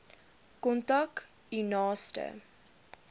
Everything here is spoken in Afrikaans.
kontak u naaste